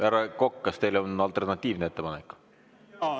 Härra Kokk, kas teil on alternatiivne ettepanek?